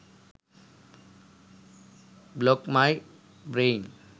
blog my brain